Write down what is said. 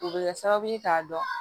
U bɛ kɛ sababu ye k'a dɔn